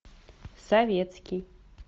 советский